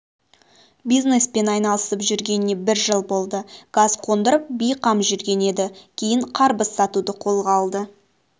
бизнеспен айналысып жүргеніне бір жыл болды газ қондырып бейқам жүрген еді кейін қарбыз сатуды қолға алды